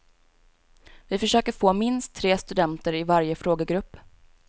Vi försöker få minst tre studenter i varje frågegrupp.